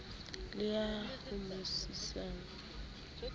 le ya mo sitisang e